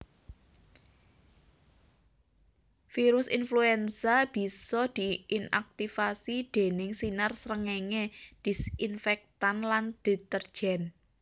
Virus influenza bisa diinaktivasi déning sinar srengéngé disinfektan lan deterjen